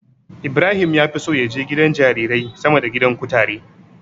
Ibrahim ya fi so ya je gidan jarirai sama da gidan kutare.